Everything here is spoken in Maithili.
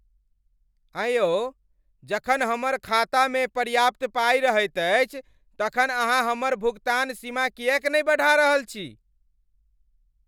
अँय यौ, जखन हमर खातामे पर्याप्त पाइ रहैत अछि तखन अहाँ हमर भुगतान सीमा किएक नहि बढ़ा रहल छी?